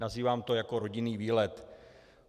Nazývám to jako rodinný výlet.